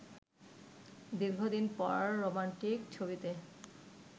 র্দীঘদিন পর রোমান্টিক ছবিতে